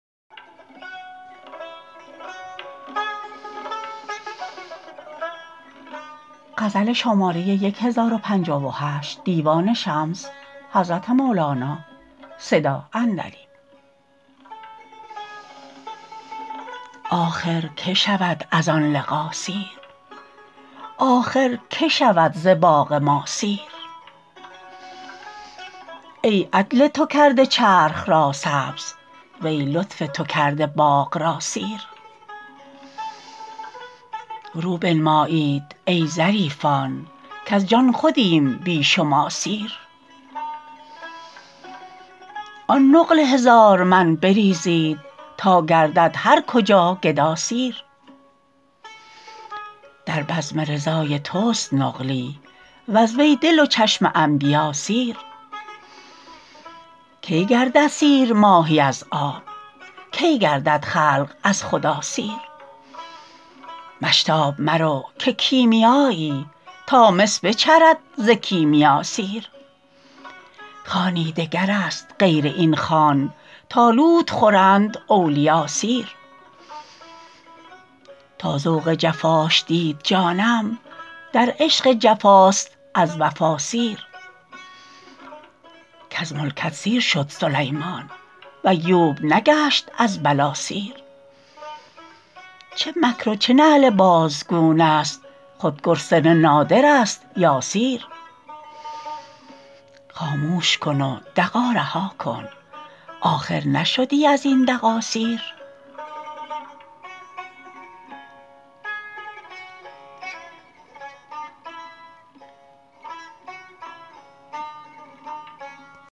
آخر کی شود از آن لقا سیر آخر کی شود ز باغ ما سیر ای عدل تو کرده چرخ را سبز وی لطف تو کرده باغ را سیر رو بنمایید ای ظریفان کز جان خودیم بی شما سیر آن نقل هزارمن بریزید تا گردد هر کجا گدا سیر در بزم رضای تست نقلی وز وی دل و چشم انبیا سیر کی گردد سیر ماهی از آب کی گردد خلق از خدا سیر مشتاب مرو که کیمیایی تا مس بچرد ز کیمیا سیر خوانی دگرست غیر این خوان تا لوت خورند اولیا سیر تا ذوق جفاش دید جانم در عشق جفاست از وفا سیر کز ملکت سیر شد سلیمان و ایوب نگشت از بلا سیر چه مکر و چه نعل باژگونه ست خود گرسنه نادرست یا سیر خاموش کن و دغا رها کن آخر نشدی از این دغا سیر